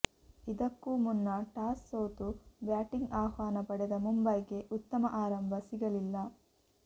ಇದಕ್ಕೂ ಮುನ್ನ ಟಾಸ್ ಸೋತು ಬ್ಯಾಟಿಂಗ್ ಆಹ್ವಾನ ಪಡೆದ ಮುಂಬೈಗೆ ಉತ್ತಮ ಆರಂಭ ಸಿಗಲಿಲ್ಲ